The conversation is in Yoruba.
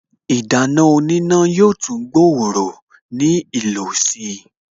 Ìdáná oníná yóò tún gbòòrò ní ìlò si